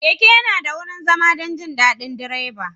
Keke yana da wurin zama don jin daɗin direba.